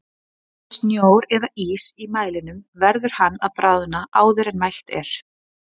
Sé snjór eða ís í mælinum verður hann að bráðna áður en mælt er.